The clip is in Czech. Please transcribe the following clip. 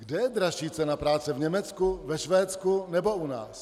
Kde je dražší cena práce - v Německu, ve Švédsku nebo u nás?